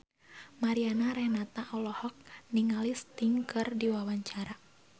Mariana Renata olohok ningali Sting keur diwawancara